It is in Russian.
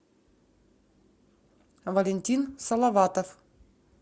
валентин салаватов